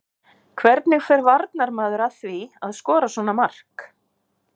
Hvernig fer varnarmaður að því að skora svona mark?